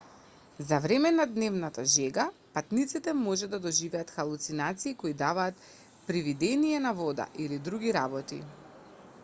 за време на дневната жега патниците може да доживеат халуцинации кои даваат привидение на вода или други работи